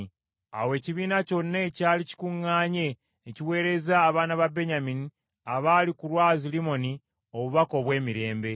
Awo ekibiina kyonna ekyali kikuŋŋaanye ne kiweereza abaana ba Benyamini abaali ku lwazi lwa Limoni obubaka obw’emirembe.